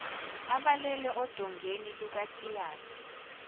abalele odongeni lukatiyana